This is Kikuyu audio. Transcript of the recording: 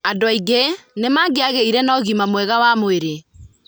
Andũ aingĩ nĩ mangĩagĩire na ũgima mwega wa mwĩrĩ.